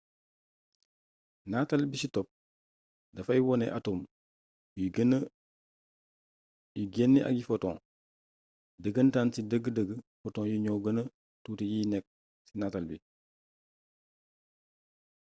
nataal bi ci topp dafay wone atom yuy génnee ay photons dëgëntaan ci dëgg-dëgg photons yi ñoo gëna tuuti yi nekk ci nataal bi